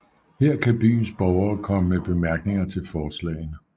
Her kan byens borgere komme med bemærkninger til forslagene